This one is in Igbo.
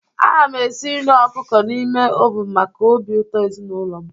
Ana m esi nri ọkụkọ n'ime oven maka obi ụtọ ezinụlọ m.